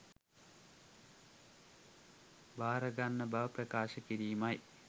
භාරගන්න බව ප්‍රකාශ කිරීමයි